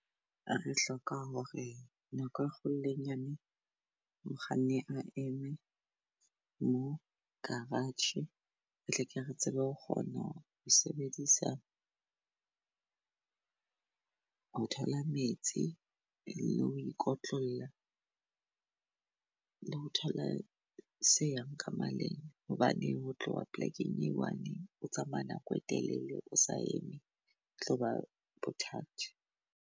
A re hloka hore nako e kgolo le e nyane mokganni a eme mo garage, re tleke re tsebe ho kgona ho sebedisa ho thola metsi, le ho ikotlolla le ho thola se yang ka maleng. Hobane ho tloha polekeng e one o tsamaya nako e telele, o sa eme e tloba bothata.